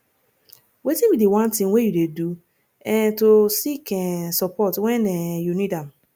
wetin be di one thing wey you dey do um to seek um support when um you need am